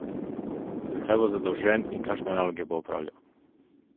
Za kaj bo zadolžen in kakšne naloge bo opravljal?